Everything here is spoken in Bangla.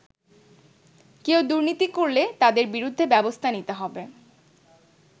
কেউ দুর্নীতি করলে তাদের বিরুদ্ধে ব্যবস্থা নিতে হবে।